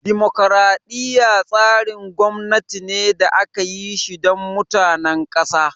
Dimokraɗiya tsarin gwamnati ne da aka yi shi don mutanen ƙasa